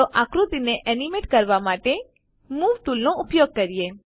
ચાલો આકૃતિને એનીમેટ કરવા માટે મૂવ ટૂલ નો ઉપયોગ કરીએ